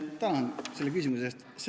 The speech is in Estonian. Tänan selle küsimuse eest!